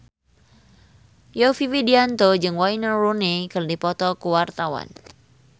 Yovie Widianto jeung Wayne Rooney keur dipoto ku wartawan